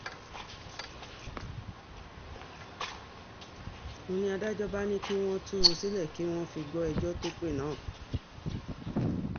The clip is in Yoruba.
ń ní adájọ́ bá ní kí wọ́n tú u sílẹ̀ kí wọ́n fi gbọ́ ẹjọ́ tó pé náà